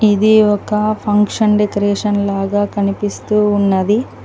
ఇది ఒక function decoration లాగా కనిపిస్తూ ఉన్నది.